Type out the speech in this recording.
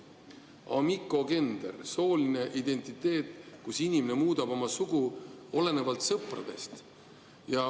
Amigogender – sooline identiteet, kui inimene muudab oma sugu, olenevalt sõpradest.